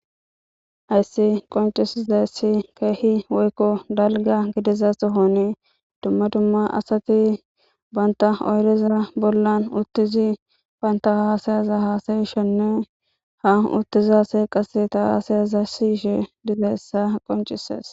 hayssi qoncisizayssi keehi woykko dalga gidiza sohonii dumma dumma asati banta oyrizara bollan uttizi panta haasayaza haasayishenne ha uttiza assay qase ta haasayaza siyishe dizayssa qoncises